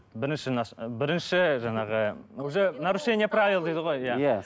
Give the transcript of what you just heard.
бірінші бірінші жаңағы уже нарушение правила дейді ғой иә